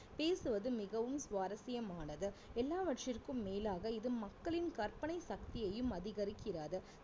பேசுவது மிகவும் சுவாரசியமானது எல்லாவற்றிற்கும் மேலாக இது மக்களின் கற்பனை சக்தியையும் அதிகரிக்கிறது